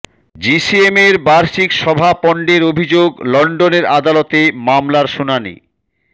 জিসিএমের বার্ষিক সভা পণ্ডের অভিযোগ লন্ডনের আদালতে মামলার শুনানি